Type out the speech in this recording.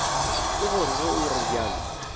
ke gore ge o realo